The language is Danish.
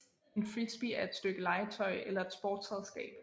En frisbee er et stykke legetøj eller et sportsredskab